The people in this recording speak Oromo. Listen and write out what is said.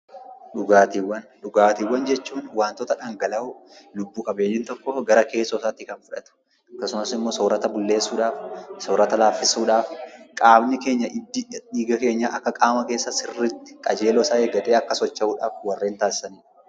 Dhugaatiiwwan jechuun waantota dhangala'oo lubbu-qabeeyyiin gara keessoo isaatti fudhatudha. Akkasumas immoo soorata laaffisuu fi bulleessuuf, hiddi qaama keenyaa qajeeloo isaa eeggatee akka socho'uuf warreen taasisanidha.